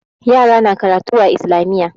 Yara na karatu a Islamiyya.